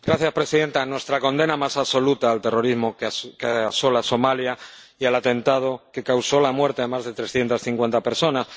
Señora presidenta, nuestra condena más absoluta al terrorismo que asola Somalia y al atentado que causó la muerte a más de trescientas cincuenta personas.